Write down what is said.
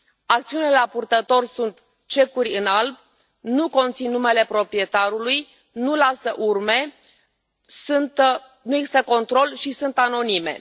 Acțiuni la purtător sunt cecuri în alb, nu conțin numele proprietarului, nu lasă urme, nu există control și sunt anonime.